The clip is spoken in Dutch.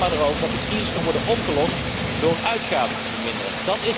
U hebt het er alleen maar over dat de crisis kan worden opgelost door de uitgaven te verminderen.